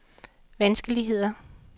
vanskeligheder